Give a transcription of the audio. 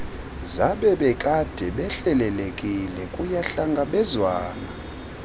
zabebekade behlelelekile kuyahlangabezwana